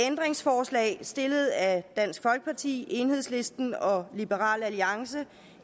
ændringsforslag stillet af dansk folkeparti enhedslisten og liberal alliance